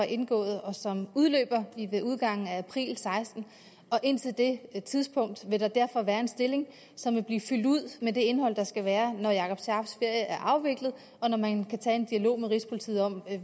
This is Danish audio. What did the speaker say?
indgået og som udløber ved udgangen af april og seksten og indtil det tidspunkt vil der derfor være en stilling som vil blive fyldt ud med det indhold der skal være når jakob scharfs ferie er afviklet og når man kan tage en dialog med rigspolitiet om